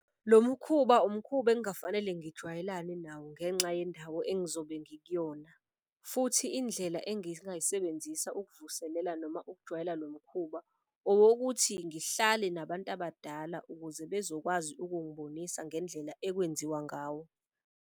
Lo mkhuba umkhuba engafanele ngijwayele nawo ngenxa yendawo engizobe ngikuyona. Futhi indlela ukuvuselela noma ukujwayela lo mkhuba owokuthi ngihlale nabantu abadala ukuze bezokwazi ukungibonisa ngendlela ekwenziwa ngawo.